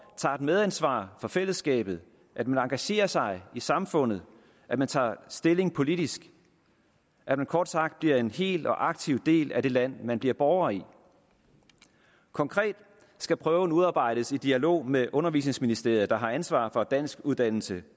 tager et medansvar for fællesskabet at man engagerer sig i samfundet at man tager stilling politisk at man kort sagt bliver en hel og aktiv del af det land man bliver borger i konkret skal prøven udarbejdes i dialog med undervisningsministeriet der har ansvaret for danskuddannelse